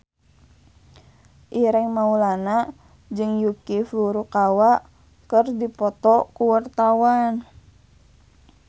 Ireng Maulana jeung Yuki Furukawa keur dipoto ku wartawan